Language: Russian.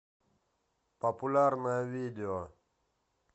популярное видео